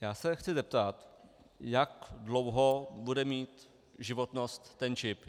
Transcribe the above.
Já se chci zeptat, jak dlouho bude mít životnost ten čip.